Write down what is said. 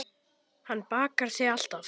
Hann bakar þig alltaf.